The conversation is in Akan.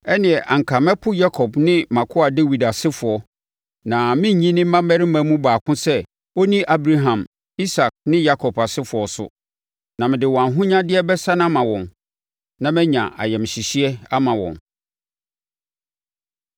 ɛnneɛ anka mɛpo Yakob ne mʼakoa Dawid asefoɔ, na merennyi ne mmammarima mu baako sɛ ɔnni Abraham, Isak ne Yakob asefoɔ so. Na mede wɔn ahonyadeɛ bɛsane ama wɔn, na manya ayamhyehyeɛ ama wɔn.’ ”